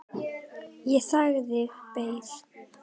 Ég þagði, beið.